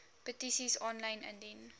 petisies aanlyn indien